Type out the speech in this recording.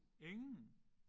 Ingen?